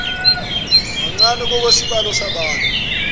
mancane ngokwesibalo sabantu